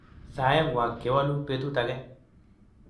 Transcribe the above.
Saeng'wak kewalu betut age